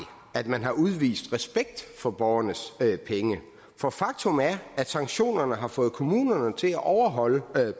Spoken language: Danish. at man har udvist respekt for borgernes penge for faktum er at sanktionerne har fået kommunerne til at overholde